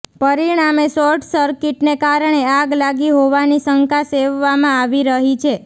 પરિણામે શોર્ટ સર્કિટને કારણે આગ લાગી હોવાની શંકા સેવવામાં આવી રહી છે